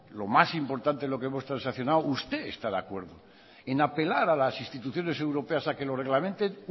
lo más importante de lo que hemos transaccionado usted está de acuerdo en apelar a las instituciones europeas a que lo reglamenten